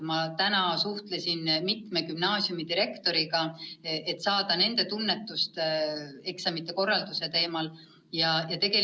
Ma täna suhtlesin mitme gümnaasiumi direktoriga, et saada teada, mida nemad eksamite korraldusest arvavad.